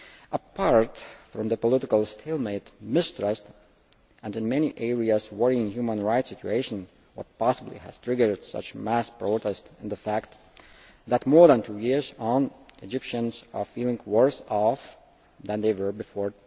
Apart from the political stalemate, mistrust and, in many areas, worrying human rights situations which possibly triggered such mass protests, it is a fact that more than two years on Egyptians are feeling worse off than they were before